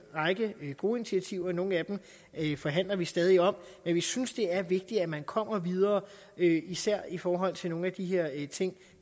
række gode initiativer og nogle af dem forhandler vi stadig om men vi synes det er vigtigt at man kommer videre især i forhold til nogle af de her ting